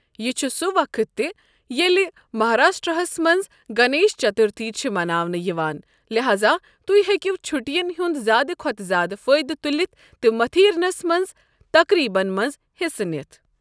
یہِ چھُ سُہ وقت تہِ ییٚلہِ مہاراشٹرا ہَس مَنٛز گنیش چترتھی چھِ مناونہٕ یِوان، لہذا تُہۍ ہیٚکِو چھُٹیَن ہُنٛد زیادٕ کھوتہٕ زیادٕ فٲیدٕ تُلِتھ تہٕ متھیرنَس مَنٛز تقریبن مَنٛز حصہٕ نِتھ ۔